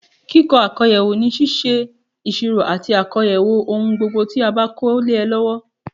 Kíkó àkóyawọ́ ni síse ìsirò àti àkóyawọ́ ohun gbogbo tí a ba ko le e lọwọ